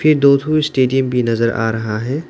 ये दो ठो स्टेडियम भी नजर आ रहा है।